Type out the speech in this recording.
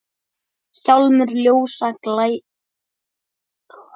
Hjálmur ljósa glæstur er.